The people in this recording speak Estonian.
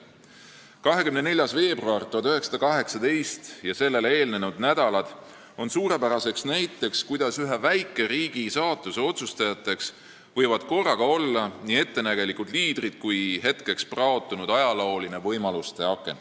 24. veebruar 1918 ja sellele eelnenud nädalad on suurepärane näide, kuidas ühe väikeriigi saatuse võivad korraga otsustada nii ettenägelikud liidrid kui ka hetkeks praotunud ajalooline võimaluste aken.